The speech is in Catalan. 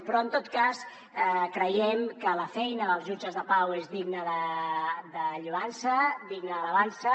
però en tot cas creiem que la feina dels jutges de pau és digna de lloança digna d’alabança